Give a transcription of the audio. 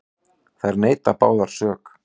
Þær neita báðar sök.